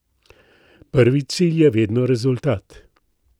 Prvi cilj je vedno rezultat.